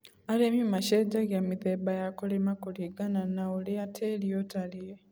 Arĩmi macenjagia mĩthemba ya kũrĩma kũringana na na ũrĩa tĩrĩ ũtarie.